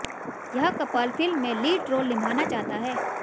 यह couple film में lead role निभाना चाहता है